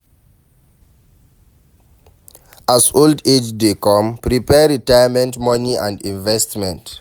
As old age dey come prepare retirement money and investment